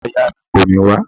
Ìyá ìyá mi kò ní wá